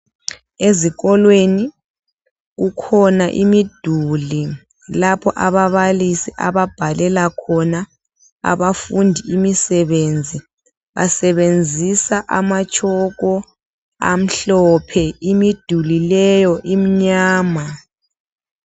Ezikolweni kukhona imiduli lapho ababalisi ababhalela khona abafundi imisebenzi. Basebenzisa amatshoko amhlophe, imiduli leyo imnyama.